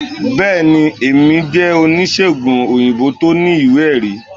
bẹẹni, Emi je onisegùn oyinbo to ní iwe- erí